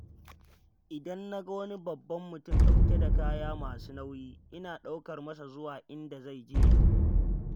Idan na ga wani babban mutum ɗauke da kaya masu nauyi ina ɗaukar masa zuwa inda zai je.